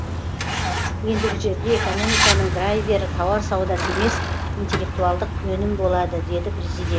ендігі жерде экономиканың драйвері тауар саудасы емес интеллектуалдық өнім болады деді президент